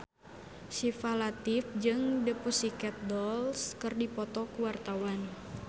Syifa Latief jeung The Pussycat Dolls keur dipoto ku wartawan